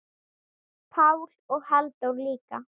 Pál og Halldór líka.